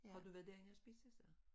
Har du været derinde og spise så?